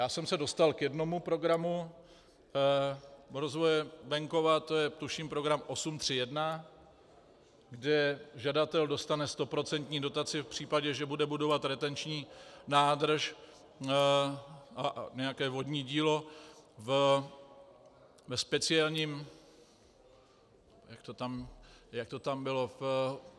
Já jsem se dostal k jednomu programu rozvoje venkova, to je tuším program 8.31, kde žadatel dostane stoprocentní dotaci v případě, že bude budovat retenční nádrž a nějaké vodní dílo ve speciálním - jak to tam bylo?